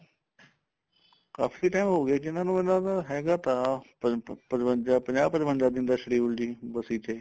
ਕਾਫੀ time ਹੋ ਗਿਆ ਜੀ ਉਨਾ ਨੂੰ ਉਨਾ ਦਾ ਹੈਗਾ ਤਾਂ ਪਚ ਪਚਵੰਜਾ ਪੰਜਾਹ ਪਚਵੰਜਾ ਪੰਜਾਹ schedule ਸੀ ਬਸੀ ਤੇ